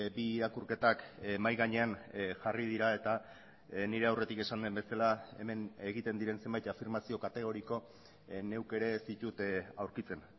bi irakurketak mahai gainean jarri dira eta nire aurretik esan den bezala hemen egiten diren zenbait afirmazio kategoriko neuk ere ez ditut aurkitzen